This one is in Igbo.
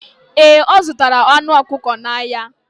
Ee, ọ zụtara anụ ọkụkọ n'ahịa.